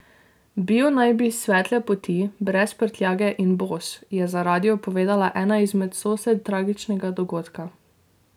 Bil naj bi svetle poti, brez prtljage in bos, je za radio povedala ena izmed sosed tragičnega dogodka.